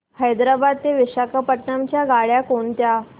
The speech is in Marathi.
हैदराबाद ते विशाखापट्ण्णम च्या गाड्या कोणत्या